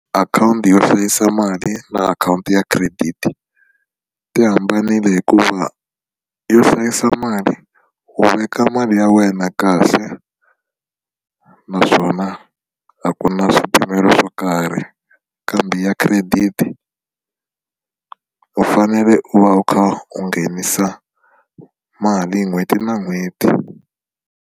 Akhawunti yo hlayisa mali na akhawunti ya credit ti hambanile hikuva yo hlayisa mali u veka mali ya wena kahle naswona a ku na swipimelo swo karhi kambe ya credit u fanele u va u kha u nghenisa mali n'hweti na n'hweti.